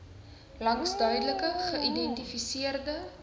langs duidelik geïdentifiseerde